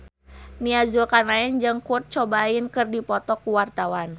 Nia Zulkarnaen jeung Kurt Cobain keur dipoto ku wartawan